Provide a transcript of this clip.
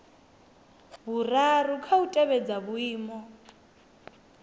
vhuraru kha u tevhedza vhuimo